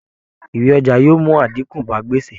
Ìwé ọjà yóò mú àdínkù bá gbèsè